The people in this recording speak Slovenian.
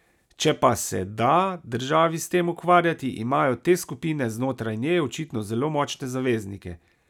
Če pa se da državi s tem ukvarjati, imajo te skupine znotraj nje očitno zelo močne zaveznike.